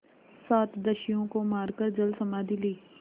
सात दस्युओं को मारकर जलसमाधि ली